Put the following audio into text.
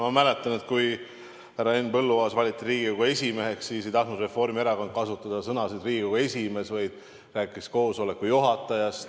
Ma mäletan, et kui härra Henn Põlluaas valiti Riigikogu esimeheks, siis ei tahtnud Reformierakond kasutada sõnu "Riigikogu esimees", vaid rääkis koosoleku juhatajast.